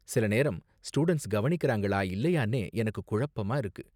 சில நேரம், ஸ்டூடண்ட்ஸ் கவனிக்கறாங்களா இல்லையானே எனக்கு குழப்பமா இருக்கு.